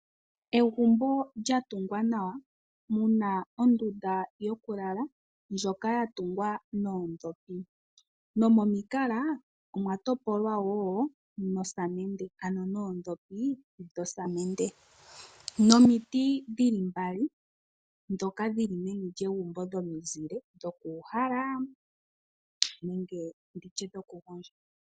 Egumbo lya tungwa nawa. Muna ondunda yoku lala ndjoka ya tugwa noodhopi. Nomomiikala omwa topolwa wo nosamende ano noodhopi dhosamende. Nomiiti dhili mbali dhoka dhili meni lyegumbo dhomizile dhoku uhala nenge nditye dhoku gondja.